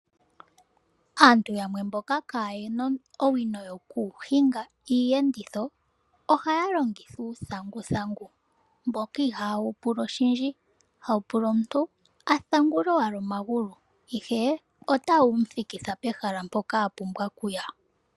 Aantu yamwe mboka kaayena owino yoku hinga iiyenditho ohaya longitha uuthanguthangu mboka ihawu pula oshindji. Hawu pula omuntu a thangule owala omuntu ihe otawu mu thikitha pehala mpoka a pumbwa okuya.